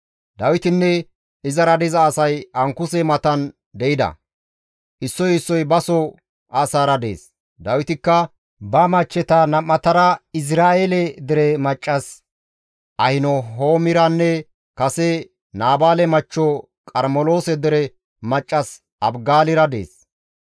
Dawitinne izara diza asay Ankuse matan de7ida; issoy issoy baso asaara dees; Dawitikka ba machcheta nam7atara Izra7eele dere maccas Ahinahoomiranne kase Naabaale machcho Qarmeloose dere maccas Abigaalira dees.